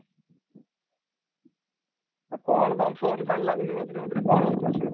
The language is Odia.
ଆଉ କ'ଣ ତମ phone ଲାଗୁନି ମଝିରେ ମଝିରେ କ'ଣ ହଉଚି ଅସୁବିଧା?